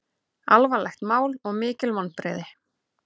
Alvarlegt mál og mikil vonbrigði